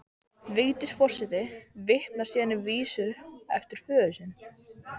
Vigdís forseti vitnar síðan í vísu eftir föður sinn